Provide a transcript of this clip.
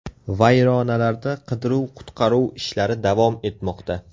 Vayronalarda qidiruv-qutqaruv ishlari davom etmoqda.